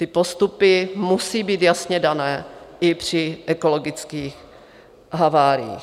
Ty postupy musejí být jasně dané i při ekologických haváriích.